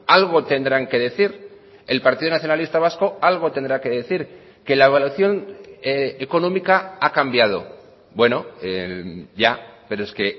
algo tendrán que decir el partido nacionalista vasco algo tendrá que decir que la evaluación económica ha cambiado bueno ya pero es que